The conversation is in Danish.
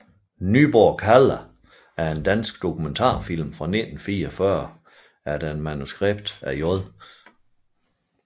Nyborg kalder er en dansk dokumentarfilm fra 1944 efter manuskript af J